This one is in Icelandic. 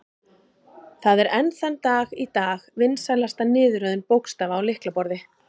Það er enn þann dag í dag vinsælasta niðurröðun bókstafa á lyklaborð.